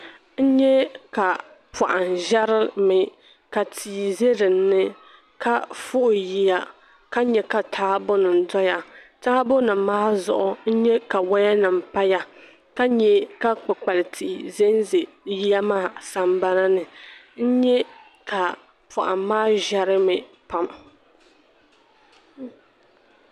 N nyɛ ka poham ʒɛrimi ka tia ʒɛ dinni ka fuɣi yiya ka nyɛ ka taabo nim doya taabo nim maa zuɣu n nyɛ ka woya nim paya ka nyɛ ka kpukpali tihi ʒɛnʒɛ bi yiya maa sambana ni n nyɛ ka poham maa ʒɛrimi pam